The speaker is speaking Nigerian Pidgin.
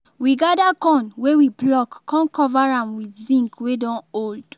we gather corn wey we pluck con cover am with zinc wey don old